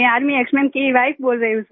army ex man की wife बोल रही हूँ सर